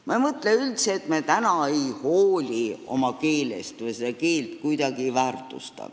Ma ei mõtle sugugi, et me ei hooli oma keelest või ei väärtusta seda kuidagi.